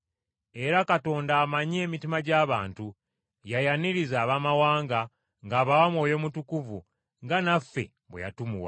Era Katonda amanyi emitima gy’abantu, yayaniriza Abaamawanga ng’abawa Mwoyo Mutukuvu nga naffe bwe yatumuwa.